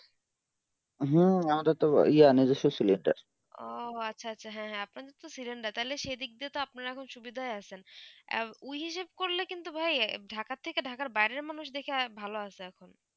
হম আমাদের তো এই আসে gas cylinder ওহ আচ্ছা হেঁ হেঁ আপনাদের তো cylinder তালে সেই দিক দিয়ে তো আপনারা আখন সুবিধায় আছেন উইয় হিসাৱ করলে কিন্তু ভাই ঢাকা থেকে ঢাকার বাইরে মানুষ দেখে ভালো বাসে এখন